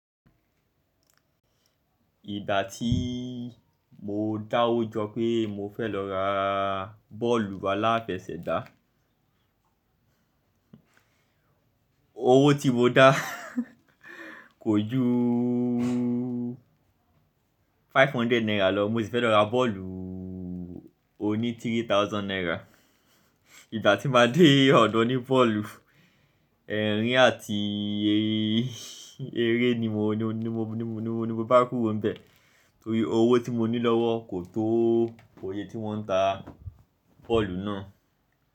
Ìgbà tí mo dáwọ́ jọ pé mo fẹ́ lọ ra bọ́ọ̀lù alafẹsẹ̀gbá. Owó tí mo dá kò ju five hundred naira lọ, mo sì fẹ́ lọ ra bọ́ọ̀lù oní three thousand naira. Ìgbà tí máa dé ọ̀dọ̀ oní bọ́ọ̀lù, ẹ̀rín àti eré ni mo bá kúrò níbẹ̀. Torí owó tí mo ní lọ́wọ́ kò tó oye tí wọ́n ń ta bọ́ọ̀lù náà.